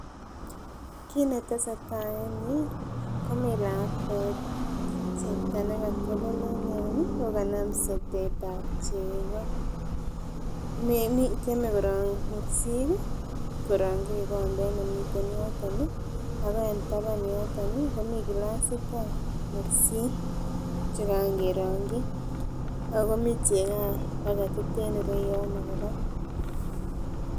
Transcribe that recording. Kit netesetai en yuu komii lakwet chepto nekotelel en yon ih ako kanam sotet ab chego tyeme korong mursik korongyi kikombet nemiten yoton ih ako en taban yoton ih komii gilasit ab mursik chekaan kerongyi ako mii cheko any paketit en ireyono kora